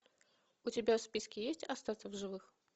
у тебя в списке есть остаться в живых